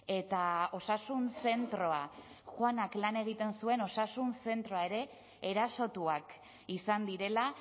eta osasun zentroa juanak lan egiten zuen osasun zentroa ere erasotuak izan direla